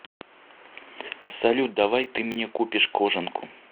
салют давай ты мне купишь кожанку